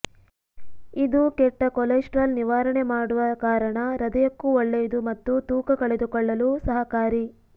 ಇದು ಕೆಟ್ಟ ಕೊಲೆಸ್ಟ್ರಾಲ್ ನಿವಾರಣೆ ಮಾಡುವ ಕಾರಣ ಹೃದಯಕ್ಕೂ ಒಳ್ಳೆಯದು ಮತ್ತು ತೂಕ ಕಳೆದುಕೊಳ್ಳಲು ಸಹಕಾರಿ